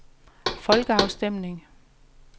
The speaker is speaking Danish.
folkeafstemning